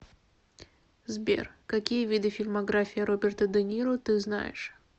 сбер какие виды фильмография роберта де ниро ты знаешь